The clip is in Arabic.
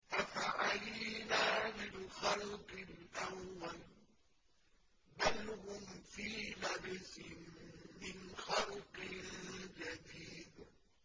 أَفَعَيِينَا بِالْخَلْقِ الْأَوَّلِ ۚ بَلْ هُمْ فِي لَبْسٍ مِّنْ خَلْقٍ جَدِيدٍ